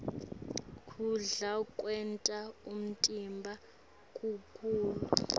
kudla kwenta umtimba ukhule